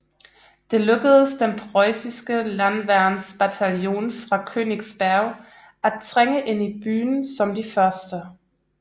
Det lykkedes den preussiske landværnsbataljon fra Königsberg at trænge ind i byen som de første